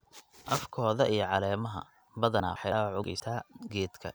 afkoda iyo caleemaha. Badanaa waxay dhaawac u geysataa geedka